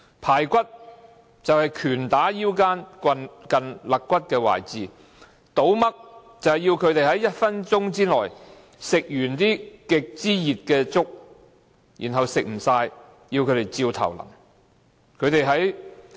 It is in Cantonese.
"排骨"就是拳打腰間近肋骨的位置；"倒嘜"就是要他們在1分鐘內吃光極熱的粥，如果吃不完，便直接倒在他們頭上。